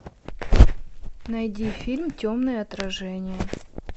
найди фильм темное отражение